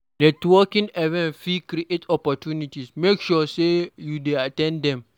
Networking events fit create opportunities; make sure say you at ten d dem.